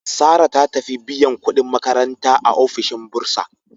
Sarah ta tafi biyan kudin makaranta a ofishin Bursa.